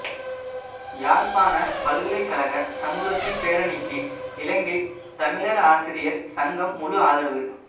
யாழ்ப்பாண பல்கலைக்கழக சமூகத்தின் பேரணிக்கு இலங்கைத் தமிழர் ஆசிரியர் சங்கம் முழுஆதரவு